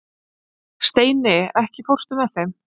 Steini, ekki fórstu með þeim?